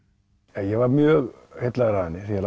ég var mjög heillaður af henni þegar